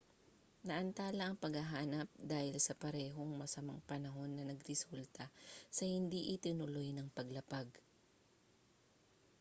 naantala ang paghahanap dahil sa parehong masamang panahon na nagresulta sa hindi itinuloy ng paglapag